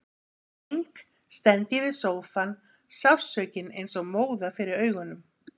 Í keng stend ég við sófann, sársaukinn eins og móða fyrir augunum.